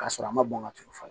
K'a sɔrɔ a ma bɔn ka tuuru